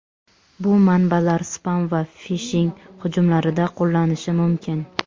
Bu manbalar spam va fishing hujumlarida qo‘llanishi mumkin.